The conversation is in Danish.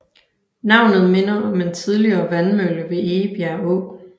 Navnet minder om en tidligere vandmølle ved Egebjerg Å